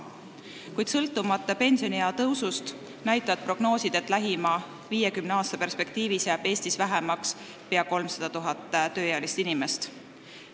Kuid sõltumata pensioniea tõusust näitavad prognoosid, et lähima 50 aasta perspektiivis jääb Eestis vähemaks pea 300 000 tööealist inimest.